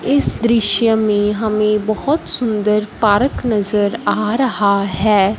इस दृश्य में हमें बहोत सुंदर पारक नजर आ रहा है।